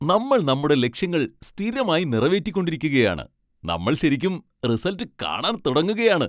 നമ്മൾ നമ്മുടെ ലക്ഷ്യങ്ങൾ സ്ഥിരമായി നിറവേറ്റിക്കൊണ്ടിരിക്കുകയാണ്, നമ്മൾ ശരിക്കും റിസൽട്ട് കാണാൻ തുടങ്ങുകയാണ്.